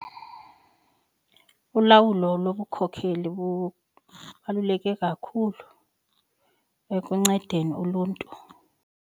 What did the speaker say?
Ulawulo lobukhokheli bubaluleke kakhulu ekuncedeni uluntu.